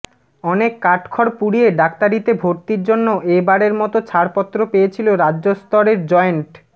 অনেক কাঠখড় পুড়িয়ে ডাক্তারিতে ভর্তির জন্য এ বারের মতো ছাড়পত্র পেয়েছিল রাজ্য স্তরের জয়েন্ট